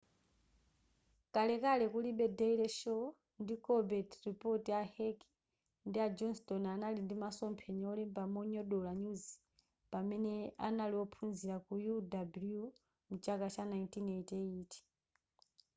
kalekale kulibe daily show ndi colbert report a heck ndi a johnstone anali ndi masomphenya olemba monyogodola nyuzi pamene anali ophunzila ku uw mchaka cha 1988